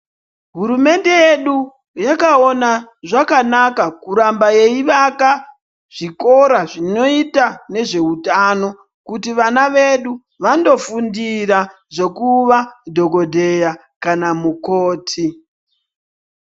Hurumende yedu yakaona zvakanaka kuramba yeivaka zvikora zvinoita nezveutano kuti vana vedu vandofundira zvekuva dhokodheya kana kuti mukoti.